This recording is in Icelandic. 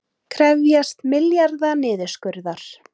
Krefjast milljarða niðurskurðar